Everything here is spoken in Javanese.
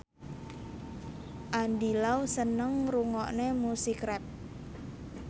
Andy Lau seneng ngrungokne musik rap